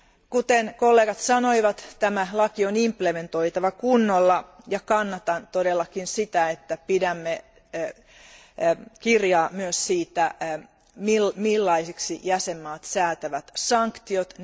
Kuten kollegat sanoivat, tämä laki on pantava kunnolla täytäntöön, ja kannatan todellakin sitä, että pidämme kirjaa myös siitä, millaisiksi jäsenvaltiot säätävät sanktiot.